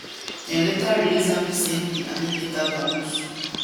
dem later release am di same day and im later vamoos